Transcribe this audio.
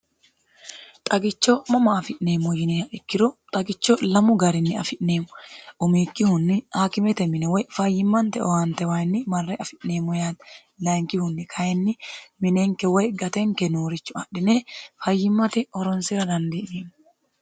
xagicho mama afi'neemmo yineha ikkiro xagicho lamu garinni afi'neemmo umiikkihunni haakimete mine woy fayyimmante owaantewayinni marre afi'neemmo yaate layinkihunni kayinni minenke woy gatenke noorichu adhine fayyimmate horonsera dandi'neemmo.